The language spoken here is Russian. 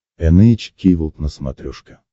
эн эйч кей волд на смотрешке